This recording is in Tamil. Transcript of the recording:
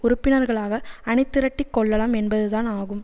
உறுப்பினர்களாக அணிதிரட்டி கொள்ளலாம் என்பதுதான் ஆகும்